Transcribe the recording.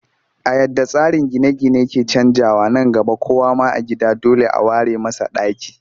A yadda tsarin gine-gine ke canjawa, nan gaba kowa ma a gida dole a ware masa ɗaki